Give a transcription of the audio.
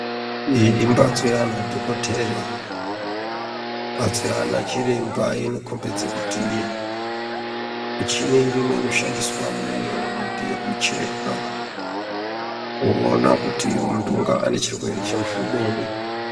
Iyi imbatso yaana dhokoteya mbatso yaanachiremba inokombidze kuti michini irimo ino shandiswamo iyo ndeyekucheka kuona kuti muntu ungaa nechirwere chemuhlobonyi.